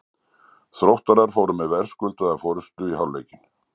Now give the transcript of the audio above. Þróttarar fóru með verðskuldaða forystu í hálfleikinn.